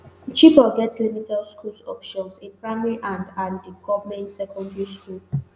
chibok get limited school options a primary and and di goment secondary school.